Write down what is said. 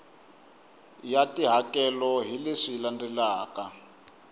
ya tihakelo hi leswi landzelaka